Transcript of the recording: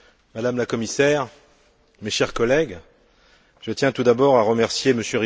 Madame la Commissaire, mes chers collègues, je tiens tout d'abord à remercier M.